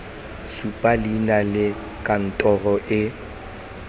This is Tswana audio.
supa leina la kantoro e